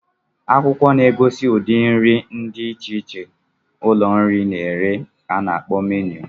Akwụkwọ na-egosi ụdị nri dị iche iche ụlọ nri na-ere ka ana akpọ menụ.